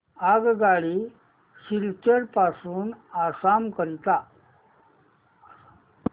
आगगाडी सिलचर पासून आसाम करीता